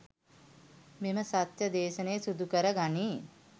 මෙම සත්‍ය දේශනය සිදුකර ගනී.